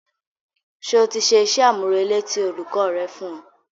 Ṣé o ti ṣe iṣẹ́-àmúrelé tí olùkọ́ rẹ fún ọ?